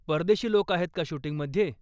परदेशी लोक आहेत का शूटिंगमध्ये?